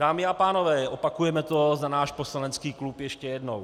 Dámy a pánové, opakujeme to za náš poslanecký klub ještě jednou.